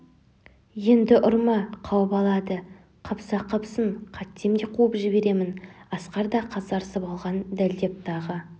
енді ұрма қауып алады қапса қапсын қайтсем де қуып жіберемін асқар да қасарысып алған дәлдеп тағы